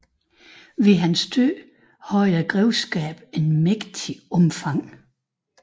Ved hans død var grevskabet af et mægtigt omfang